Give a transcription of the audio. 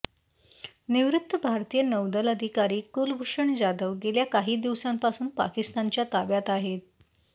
निवृत्त भारतीय नौदल अधिकारी कुलभूषण जाधव गेल्या काही दिवसांपासून पाकिस्तानच्या ताब्यात आहेत